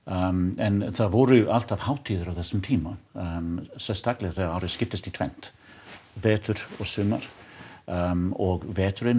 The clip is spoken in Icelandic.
en það voru alltaf hátíðir á þessum tíma sérstaklega þegar árið skiptist í tvennt vetur og sumar og veturinn